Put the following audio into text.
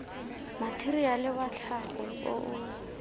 matheriale wa tlhago o o